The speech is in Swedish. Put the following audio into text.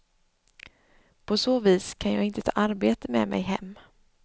På så vis kan jag inte ta arbete med mig hem.